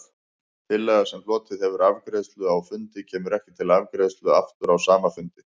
Tillaga, sem hlotið hefur afgreiðslu á fundi, kemur ekki til afgreiðslu aftur á sama fundi.